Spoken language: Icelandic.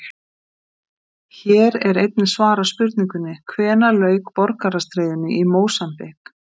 Hér er einnig svarað spurningunni: Hvenær lauk borgarastríðinu í Mósambík?